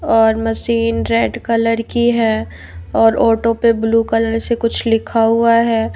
और machine red colour की है और ऑटो पे ब्लू कलर से कुछ लिखा हुआ है।